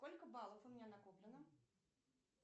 сколько баллов у меня накоплено